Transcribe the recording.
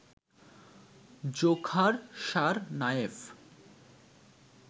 Dzhokhar Tsarnaev